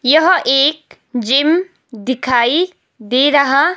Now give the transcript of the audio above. यह एक जिम दिखाई दे रहा--